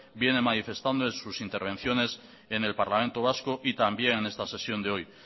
viene manifestando en sus intervenciones en el parlamento vasco y también en esta sesión de hoy